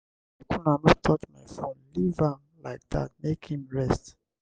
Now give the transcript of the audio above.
make una no touch my phone leave am like dat make im rest.